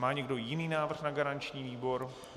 Má někdo jiný návrh na garanční výbor?